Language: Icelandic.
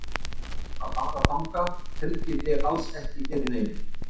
Að fara þangað tryggir þig alls ekkert fyrir neinu.